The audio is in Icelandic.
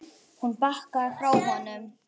Hún bakkaði frá honum.